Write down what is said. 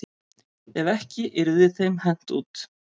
Ef ekki yrði þeim hent út.